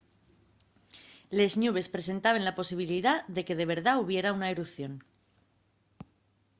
les ñubes presentaben la posibilidá de que de verdá hubiera una erupción